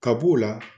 Ka b'o la